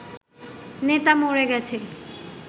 নেতা মরে গেছে